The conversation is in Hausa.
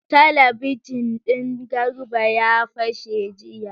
Talabijin din Garba ya fashe jiya.